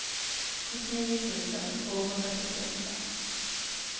sjuttionio tusen tvåhundrafyrtioåtta